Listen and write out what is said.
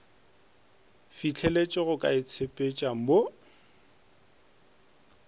fihleletše go ka itshepetša mo